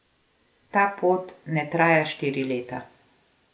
Ta pot ne traja štiri leta.